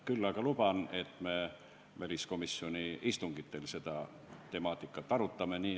Küll aga luban, et me väliskomisjoni istungitel seda teemat arutame.